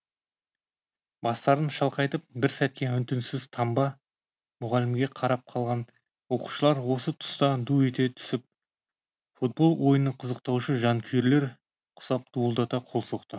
бастарын шалқайтып бір сәтке үн түнсіз тамба мұғалімге қарапқалған оқушылар осы тұста ду ете түсіп футбол ойынын қызықтаушы жанкүйерлер құсап дуылдата қол соқты